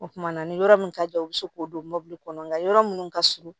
O kumana ni yɔrɔ mun ka jan u bɛ se k'o don mɔbili kɔnɔ nka yɔrɔ minnu ka surun